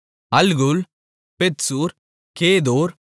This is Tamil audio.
அல்கூல் பெத்சூர் கேதோர்